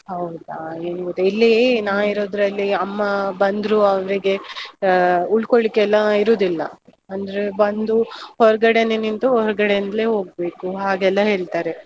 ಹೌದಾ, ಏನ್ ಗೊತ್ತಾ ಇಲ್ಲೀ ನಾ ಇರೋದ್ರಲ್ಲಿ ಅಮ್ಮಾ ಬಂದ್ರೂ ಅವ್ರಿಗೇ ಆ ಉಳ್ಕೋಳಿಕ್ಕೆಲ್ಲ ಇರುದಿಲ್ಲ, ಅಂದ್ರೆ ಬಂದು ಹೊರ್ಗಡೆನೆ ನಿಂತು ಹೊರ್ಗಡೆಯಿಂದ್ಲೇ ಹೋಗ್ಬೇಕು, ಹಾಗೆಲ್ಲಾ ಹೇಳ್ತಾರೆ.